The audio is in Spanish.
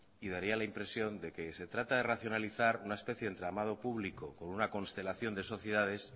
y daría la impresión de que se trata de racionalizar una especie de entramado público con una constelación de sociedades